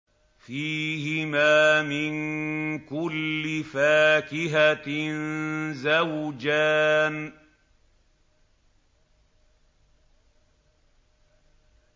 فِيهِمَا مِن كُلِّ فَاكِهَةٍ زَوْجَانِ